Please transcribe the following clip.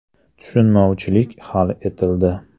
Tushunmovchilik hal etildi.